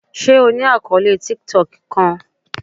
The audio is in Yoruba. Ṣe o ni akọọlẹ tiktok kan?